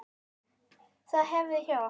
Það var hefð hjá okkur.